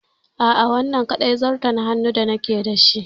A'a, wannan ne kaɗai zarton hannun da nake da shi.